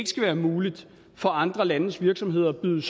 skal være muligt for andre landes virksomheder at byde